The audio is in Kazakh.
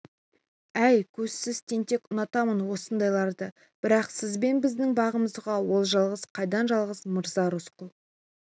әй көзсіз тентек ұнатамын осындайларды бірақ сіз бен біздің бағымызға ол жалғыз қайдан жалғыз мырза рысқұл